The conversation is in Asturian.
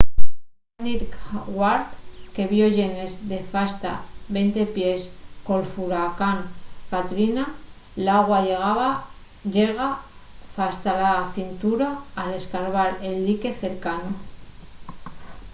nel ninth ward que vio llenes de fasta 20 pies col furacán katrina l’agua llega fasta la cintura al esbarbar el dique cercanu